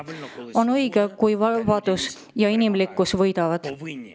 On õige, kui vabadus ja inimlikkus võidavad.